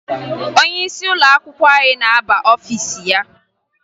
Onyeisi ụlọakwụkwọ anyị na-aba n'ọfiisi ya